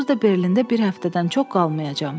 Onsuz da Berlində bir həftədən çox qalmayacam.